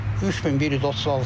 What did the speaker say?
3136.